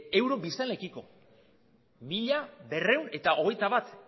euro biztanleekiko mila berrehun eta hogeita bat